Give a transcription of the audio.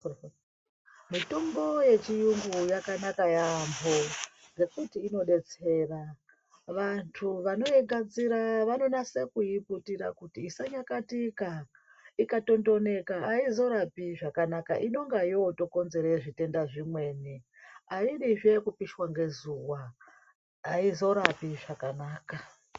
Mitombo yechiyungu yakanaka yaamho, ngekuti inodetsera. Vantu vanoigadzira vanonasa kuiputira kuti isanyakatika, ikatondoneka haizorapi zvakanaka inenge yotokonzere zvitenda zvimweni. Aidizve kupishwa ngezuva, aizorapi zvakanaka.